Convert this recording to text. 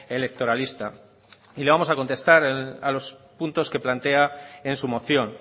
electoralista y le vamos a contestar a los puntos que plantea en su moción